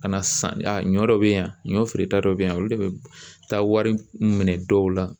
Ka na san ɲɔ be yan ɲɔ feereta dɔ be yan olu de be taa wari minɛ dɔw la